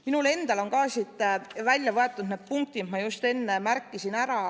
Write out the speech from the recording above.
Minul endal on ka siit välja võetud need punktid, ma just enne märkisin ära.